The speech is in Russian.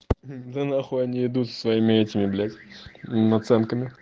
да на хуй они идут с о своими этими блять наценками